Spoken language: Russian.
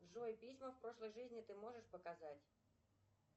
джой письма в прошлой жизни ты можешь показать